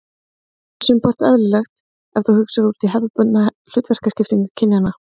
Það er sumpart eðlilegt ef við hugsum út hefðbundna hlutverkaskiptingu kynjanna.